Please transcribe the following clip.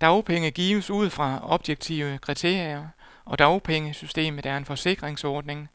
Dagpenge gives ud fra objektive kriterier, og dagpengesystemet er en forsikringsordning,